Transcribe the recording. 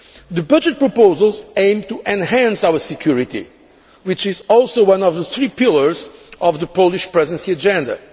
The budget proposals aim to enhance our security, which is also one of the three pillars of the Polish Presidency agenda.